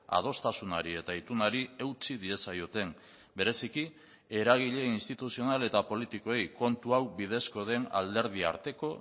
adostasunari eta itunari eutsi diezaioten bereziki eragile instituzional eta politikoei kontu hau bidezko den alderdi arteko